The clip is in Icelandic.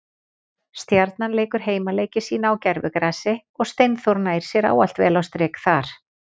Stjarnan leikur heimaleiki sína á gervigrasi og Steinþór nær sér ávalt vel á strik þar.